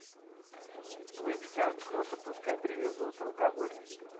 выпить охота пускай привезут алкоголь